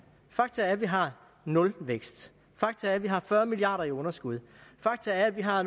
fakta er at vi har nulvækst fakta er at vi har fyrre milliard kroner i underskud fakta er at vi har